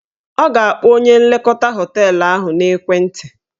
Ọ ga-akpọ onye nlekọta họteelụ ahụ n'ekwenti